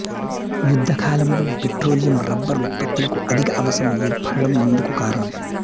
యుద్ధకాలంలో petroleum rubber ఉత్పత్తులకు అధిక అవసరం ఏర్పడటం ఇందుకు కారణం